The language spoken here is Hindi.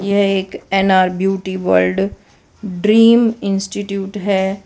यह एक N R beauty world dream institute हैं।